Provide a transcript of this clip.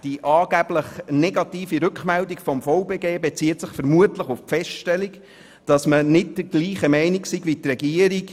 Die angeblich negative Rückmeldung des VBG bezieht sich vermutlich auf die Feststellung, man sei nicht der gleichen Meinung wie die Regierung.